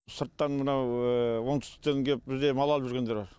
сырттан мынау оңтүстіктен кеп бізден мал ап жүргендер